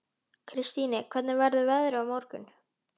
Kristine, hvernig verður veðrið á morgun?